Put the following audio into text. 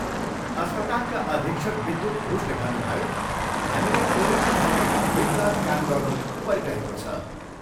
अस्पतालका अधीक्षक विद्युत घोषले भन्नुभयो, हामीले कोरोना स्थितिमा दिनरात काम गर्नु परिरहेको छ।